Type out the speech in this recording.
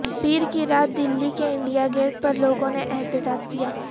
پیر کی رات دلی کے انڈیا گیٹ پر لوگوں نے احتجاج کیا